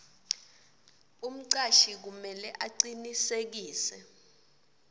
umcashi kumele acinisekise